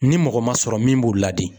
Ni mɔgɔ ma sɔrɔ min b'u ladi